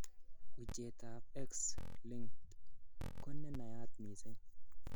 Uchetab X linked ko nenayat missing.